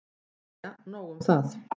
Jæja nóg um það.